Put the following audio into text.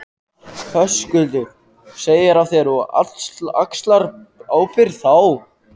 Höskuldur: Segir af þér og axlar ábyrgð þá?